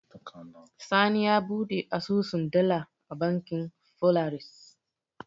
Sani ya buɗe asusun dala a bankin Folaris.